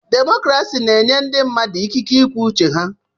Demokrasi na-enye ndị mmadụ ikike ikwu uche ha.